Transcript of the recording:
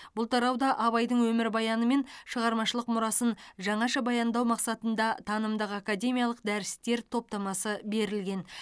бұл тарауда абайдың өмірбаяны мен шығармашылық мұрасын жаңаша баяндау мақсатында танымдық академиялық дәрістер топтамасы берілген